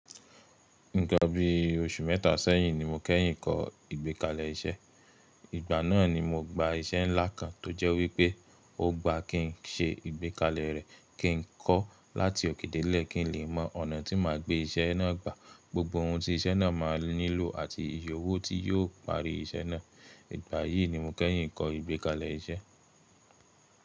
Nkan bí oṣù mẹ́ta sẹ́yìn ni mo kẹ́yìn kọ́ ìgbékalẹ̀ iṣẹ́. Ìgbà náà ni mo gba iṣẹ́ ńlá kan tó jẹ́ wípé o gba kí n ṣe ìgbékalẹ̀ rẹ̀, kí n kọ́ láti òkè delẹ̀ kí n lè mọ ọ̀nà tí màá gbé iṣẹ́ náà gbà, gbogbo ohun tí iṣẹ́ náà máa nílò àti iye owò tí yóò parí iṣẹ́ náà. Ìgbà yìí ni mo kẹ́yìn kọ́ ìgbékalẹ̀ iṣẹ́.